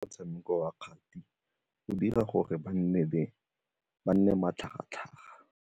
Motshameko wa kgati o dira gore ba nne matlhagatlhaga.